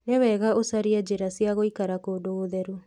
Nĩ wega ũcarie njĩra cia gũikara kũndũ gũtheru